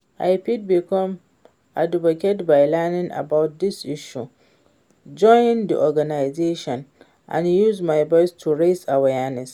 I fit become advocate by learning about di issue, join di organization and use my voice to raise awareness.